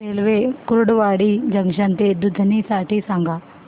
railway Kurduwadi junction ते दुधनी साठी सांगा